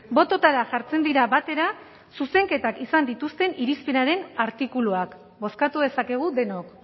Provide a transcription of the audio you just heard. bototara jartzen dira batera zuzenketak izan dituzten irizpenaren artikuluak bozkatu dezakegu denok